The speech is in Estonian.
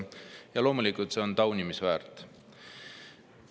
Loomulikult on see taunimisväärt.